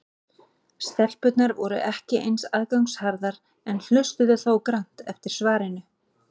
Stelpurnar voru ekki eins aðgangsharðar en hlustuðu þó grannt eftir svarinu.